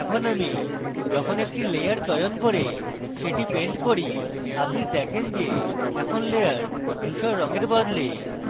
এখন আমি যখন একটি layer চয়ন করে সেটি paint করি আপনি দেখেন যে এখন layer ধুসর রঙের বদলে